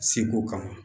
Seko kama